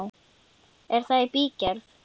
Er það í bígerð?